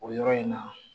O yɔrɔ in na